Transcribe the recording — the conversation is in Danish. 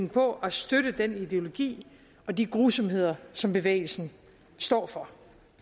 på at støtte den ideologi og de grusomheder som bevægelsen står for